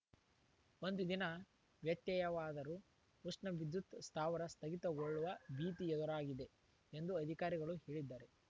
ಒಂದು ದಿನ ವ್ಯತ್ಯಯವಾದರೂ ಉಷ್ಣ ವಿದ್ಯುತ್‌ ಸ್ಥಾವರ ಸ್ಥಗಿತಗೊಳ್ಳುವ ಭೀತಿ ಎದುರಾಗಿದೆ ಎಂದು ಅಧಿಕಾರಿಗಳು ಹೇಳಿದ್ದಾರೆ